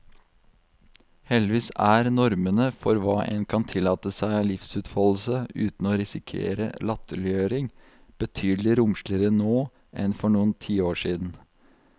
Heldigvis er normene for hva en kan tillate seg av livsutfoldelse uten å risikere latterliggjøring, betydelig romsligere nå enn for noen tiår siden.